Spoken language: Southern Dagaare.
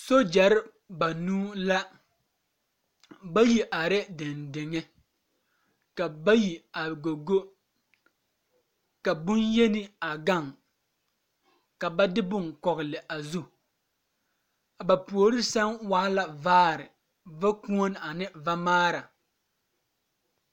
Nobɔ are kɔge la lɔɔre sɔglaa ba mine su la bonpeɛle ka ba mine su bon puliŋ puliŋ taa naŋ e doɔ zeɛ sɔglɔ ba mine su la kaayɛ sɔglɔ die arɛɛ ba puoriŋ ka teere are a die puoriŋ.